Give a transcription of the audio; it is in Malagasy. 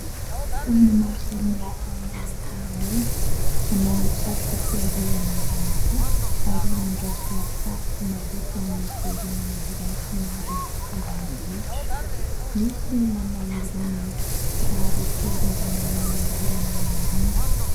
Olona maro samihafa manao fanamina, manao satroka fiarovana ihany koa ary mandraoka fako maloto amin'ny toerana iray somary ambanivohitra, misy manao irony kiraro fiarovana amin'ny orana irony.